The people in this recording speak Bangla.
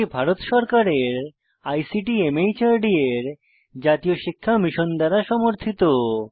এটি ভারত সরকারের আইসিটি মাহর্দ এর জাতীয় শিক্ষা মিশন দ্বারা সমর্থিত